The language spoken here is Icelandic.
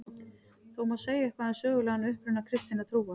Þó má segja eitthvað um sögulegan uppruna kristinnar trúar.